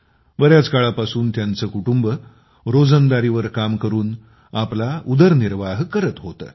बऱ्याच काळापासून तिचे कुटुंब रोजंदारीवर काम करून आपला उदरनिर्वाह करत होते